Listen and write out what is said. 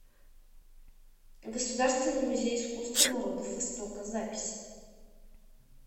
государственный музей искусства народов востока запись